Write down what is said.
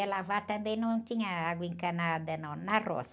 Para lavar também, não tinha água encanada não, na roça.